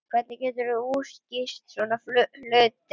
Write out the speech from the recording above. Hvernig geturðu útskýrt svona hluti?